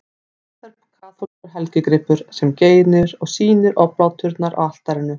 Þetta er kaþólskur helgigripur, sem geymir og sýnir obláturnar á altarinu.